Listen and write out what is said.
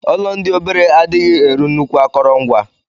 Ọlọ ndi obere adighi eri nnukwu akọrọngwa.